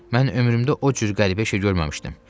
Mən ömrümdə o cür qəribə şey görməmişdim.